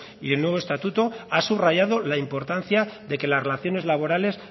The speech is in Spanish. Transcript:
y el nuevo estatuto ha subrayado la importancia de que las relaciones laborales